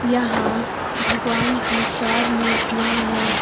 यहां भगवान की चार मूर्तियां है।